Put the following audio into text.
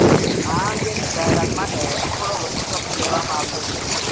આ અંગેની જાહેરાત માટે હજુ થોડો વધુ સમય લેવામાં આવ્યો છે